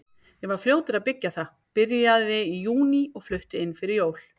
Ég var fljótur að byggja það, byrjaði í júní og flutti inn fyrir jól.